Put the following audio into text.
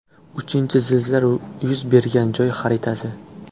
Uchinchi zilzila yuz bergan joy xaritasi.